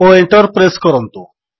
ଓ Enter press କରନ୍ତୁ